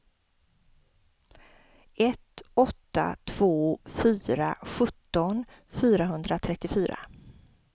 ett åtta två fyra sjutton fyrahundratrettiofyra